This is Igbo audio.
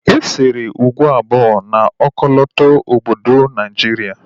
E sere ugo abụọ na ọkọlọtọ obodo Naijiria